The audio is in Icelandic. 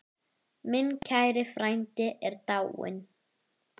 Minn kæri frændi er dáinn.